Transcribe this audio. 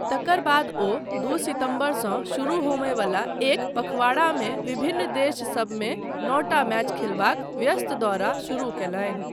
तकर बाद ओ दू सितम्बरसँ शुरू होमयवला एक पखवाड़ामे विभिन्न देशसभमे नौटा मैच खेलबाक व्यस्त दौरा शुरु कयलनि।